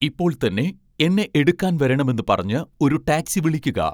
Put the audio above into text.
ഇപ്പോൾ തന്നെ എന്നെ എടുക്കാൻ വരണമെന്ന് പറഞ്ഞ് ഒരു ടാക്സി വിളിക്കുക